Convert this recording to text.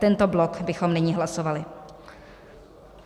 Tento blok bychom nyní hlasovali.